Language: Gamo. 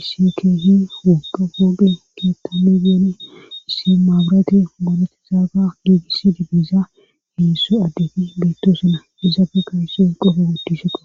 isi keehi wogga wooge keettami geeni issi maabirati borati zaaga giigisidi biiza heessu addefi beettoo sina eizaabeka hisson qofo wodi sheqa